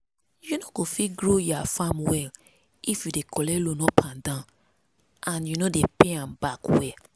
you no go fit grow ya farm well if you dey collect loan up and down and you no dey pay am back well.